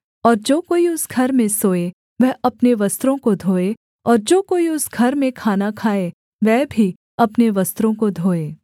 और जो कोई उस घर में सोए वह अपने वस्त्रों को धोए और जो कोई उस घर में खाना खाए वह भी अपने वस्त्रों को धोए